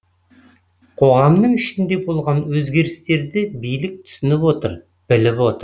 қоғамның ішінде болған өзгерістерді билік түсініп отыр біліп отыр